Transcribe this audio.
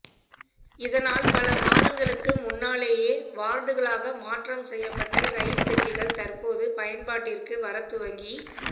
இதனால் பல மாதங்களுக்கு முன்னாலேயே வார்டுகளாக மாற்றம் செய்யப்பட்ட ரயில் பெட்டிகள் தற்போது பயன்பாட்டிற்கு வரத் துவங்கி